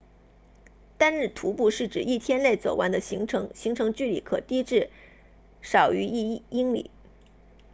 单日徒步是指一天内走完的行程行程距离可低至少于一英里